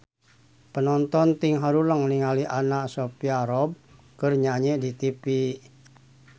Panonton ting haruleng ningali Anna Sophia Robb keur nyanyi di tipi